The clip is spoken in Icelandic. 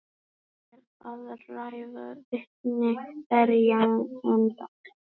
Um er að ræða vitni verjenda